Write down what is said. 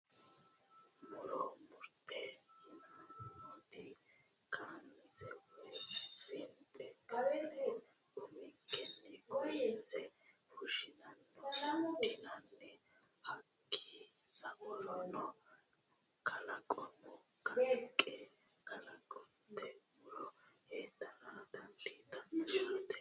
Muro murote yineemmoti kaanse woyi winxe ka'ne uminkeno kayinse fushshano dandiineemmo hakkii sa'urono kalaqunni kaaliiqi kalaqinoti muro heedhara dandiitanno yaate